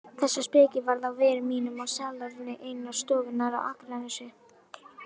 Þessa speki varð á vegi mínum á salerni einnar stofnunnar á Akranesi.